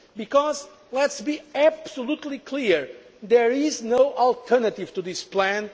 to growth. Because, let us be absolutely clear, there is no alternative to